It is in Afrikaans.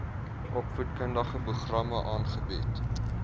opvoedkundige programme aangebied